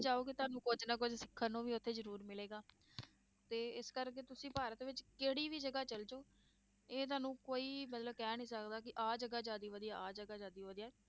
ਜਾਓਗੇ ਤੁਹਾਨੂੂੰ ਕੁੱਝ ਨਾ ਕੁੱਝ ਸਿੱਖਣ ਨੂੰ ਵੀ ਉੱਥੇ ਜ਼ਰੂਰ ਮਿਲੇਗਾ ਤੇ ਇਸ ਕਰਕੇ ਤੁਸੀਂ ਭਾਰਤ ਵਿੱਚ ਕਿਹੜੀ ਵੀ ਜਗ੍ਹਾ ਚਲੇ ਜਾਓ, ਇਹ ਤੁਹਾਨੂੰ ਕੋਈ ਮਤਲਬ ਕਹਿ ਨੀ ਸਕਦਾ ਕਿ ਆਹ ਜਗ੍ਹਾ ਜ਼ਿਆਦੇ ਵਧੀਆ, ਆਹ ਜਗ੍ਹਾ ਜ਼ਿਆਦੇ ਵਧੀਆ।